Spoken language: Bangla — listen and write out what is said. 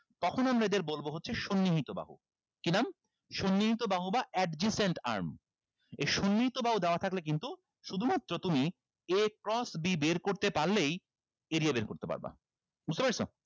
তখন আমরা এদের বলবো হচ্ছে সন্নিহিত বাহু কি নাম সন্নিহিত বাহু বা adjacent arm এই সন্নিহিত বাহু দেওয়া থাকলে কিন্তু শুধুমাত্র তুমি a cross b বের করতে পারলেই area বের করতে পারবা বুঝতে পেরেছো